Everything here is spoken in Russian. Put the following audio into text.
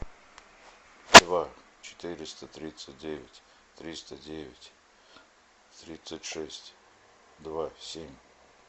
два четыреста тридцать девять триста девять тридцать шесть два семь